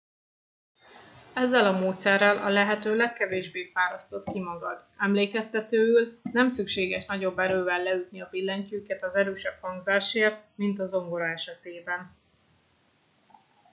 ezzel a módszerrel a lehető legkevésbé fárasztod ki magad emlékeztetőül nem szükséges nagyobb erővel leütni a billentyűket az erősebb hangzásért mint a zongora esetében